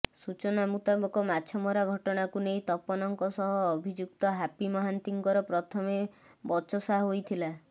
ସୂଚନା ମୁତାବକ ମାଛମରା ଘଟଣାକୁ ନେଇ ତପନଙ୍କ ସହ ଅଭିଯୁକ୍ତ ହାପି ମହାନ୍ତିଙ୍କର ପ୍ରଥମେ ବଚସା ହୋଇଥିଲା